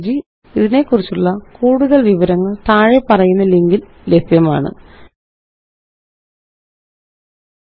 ഇതിനെക്കുറിച്ചുള്ള കൂടുതല് വിവരങ്ങള് താഴെപ്പറയുന്ന ലിങ്കില് ലഭ്യമാണ് httpspoken tutorialorgNMEICT Intro